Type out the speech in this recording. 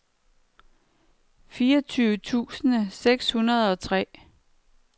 fireogtyve tusind seks hundrede og tre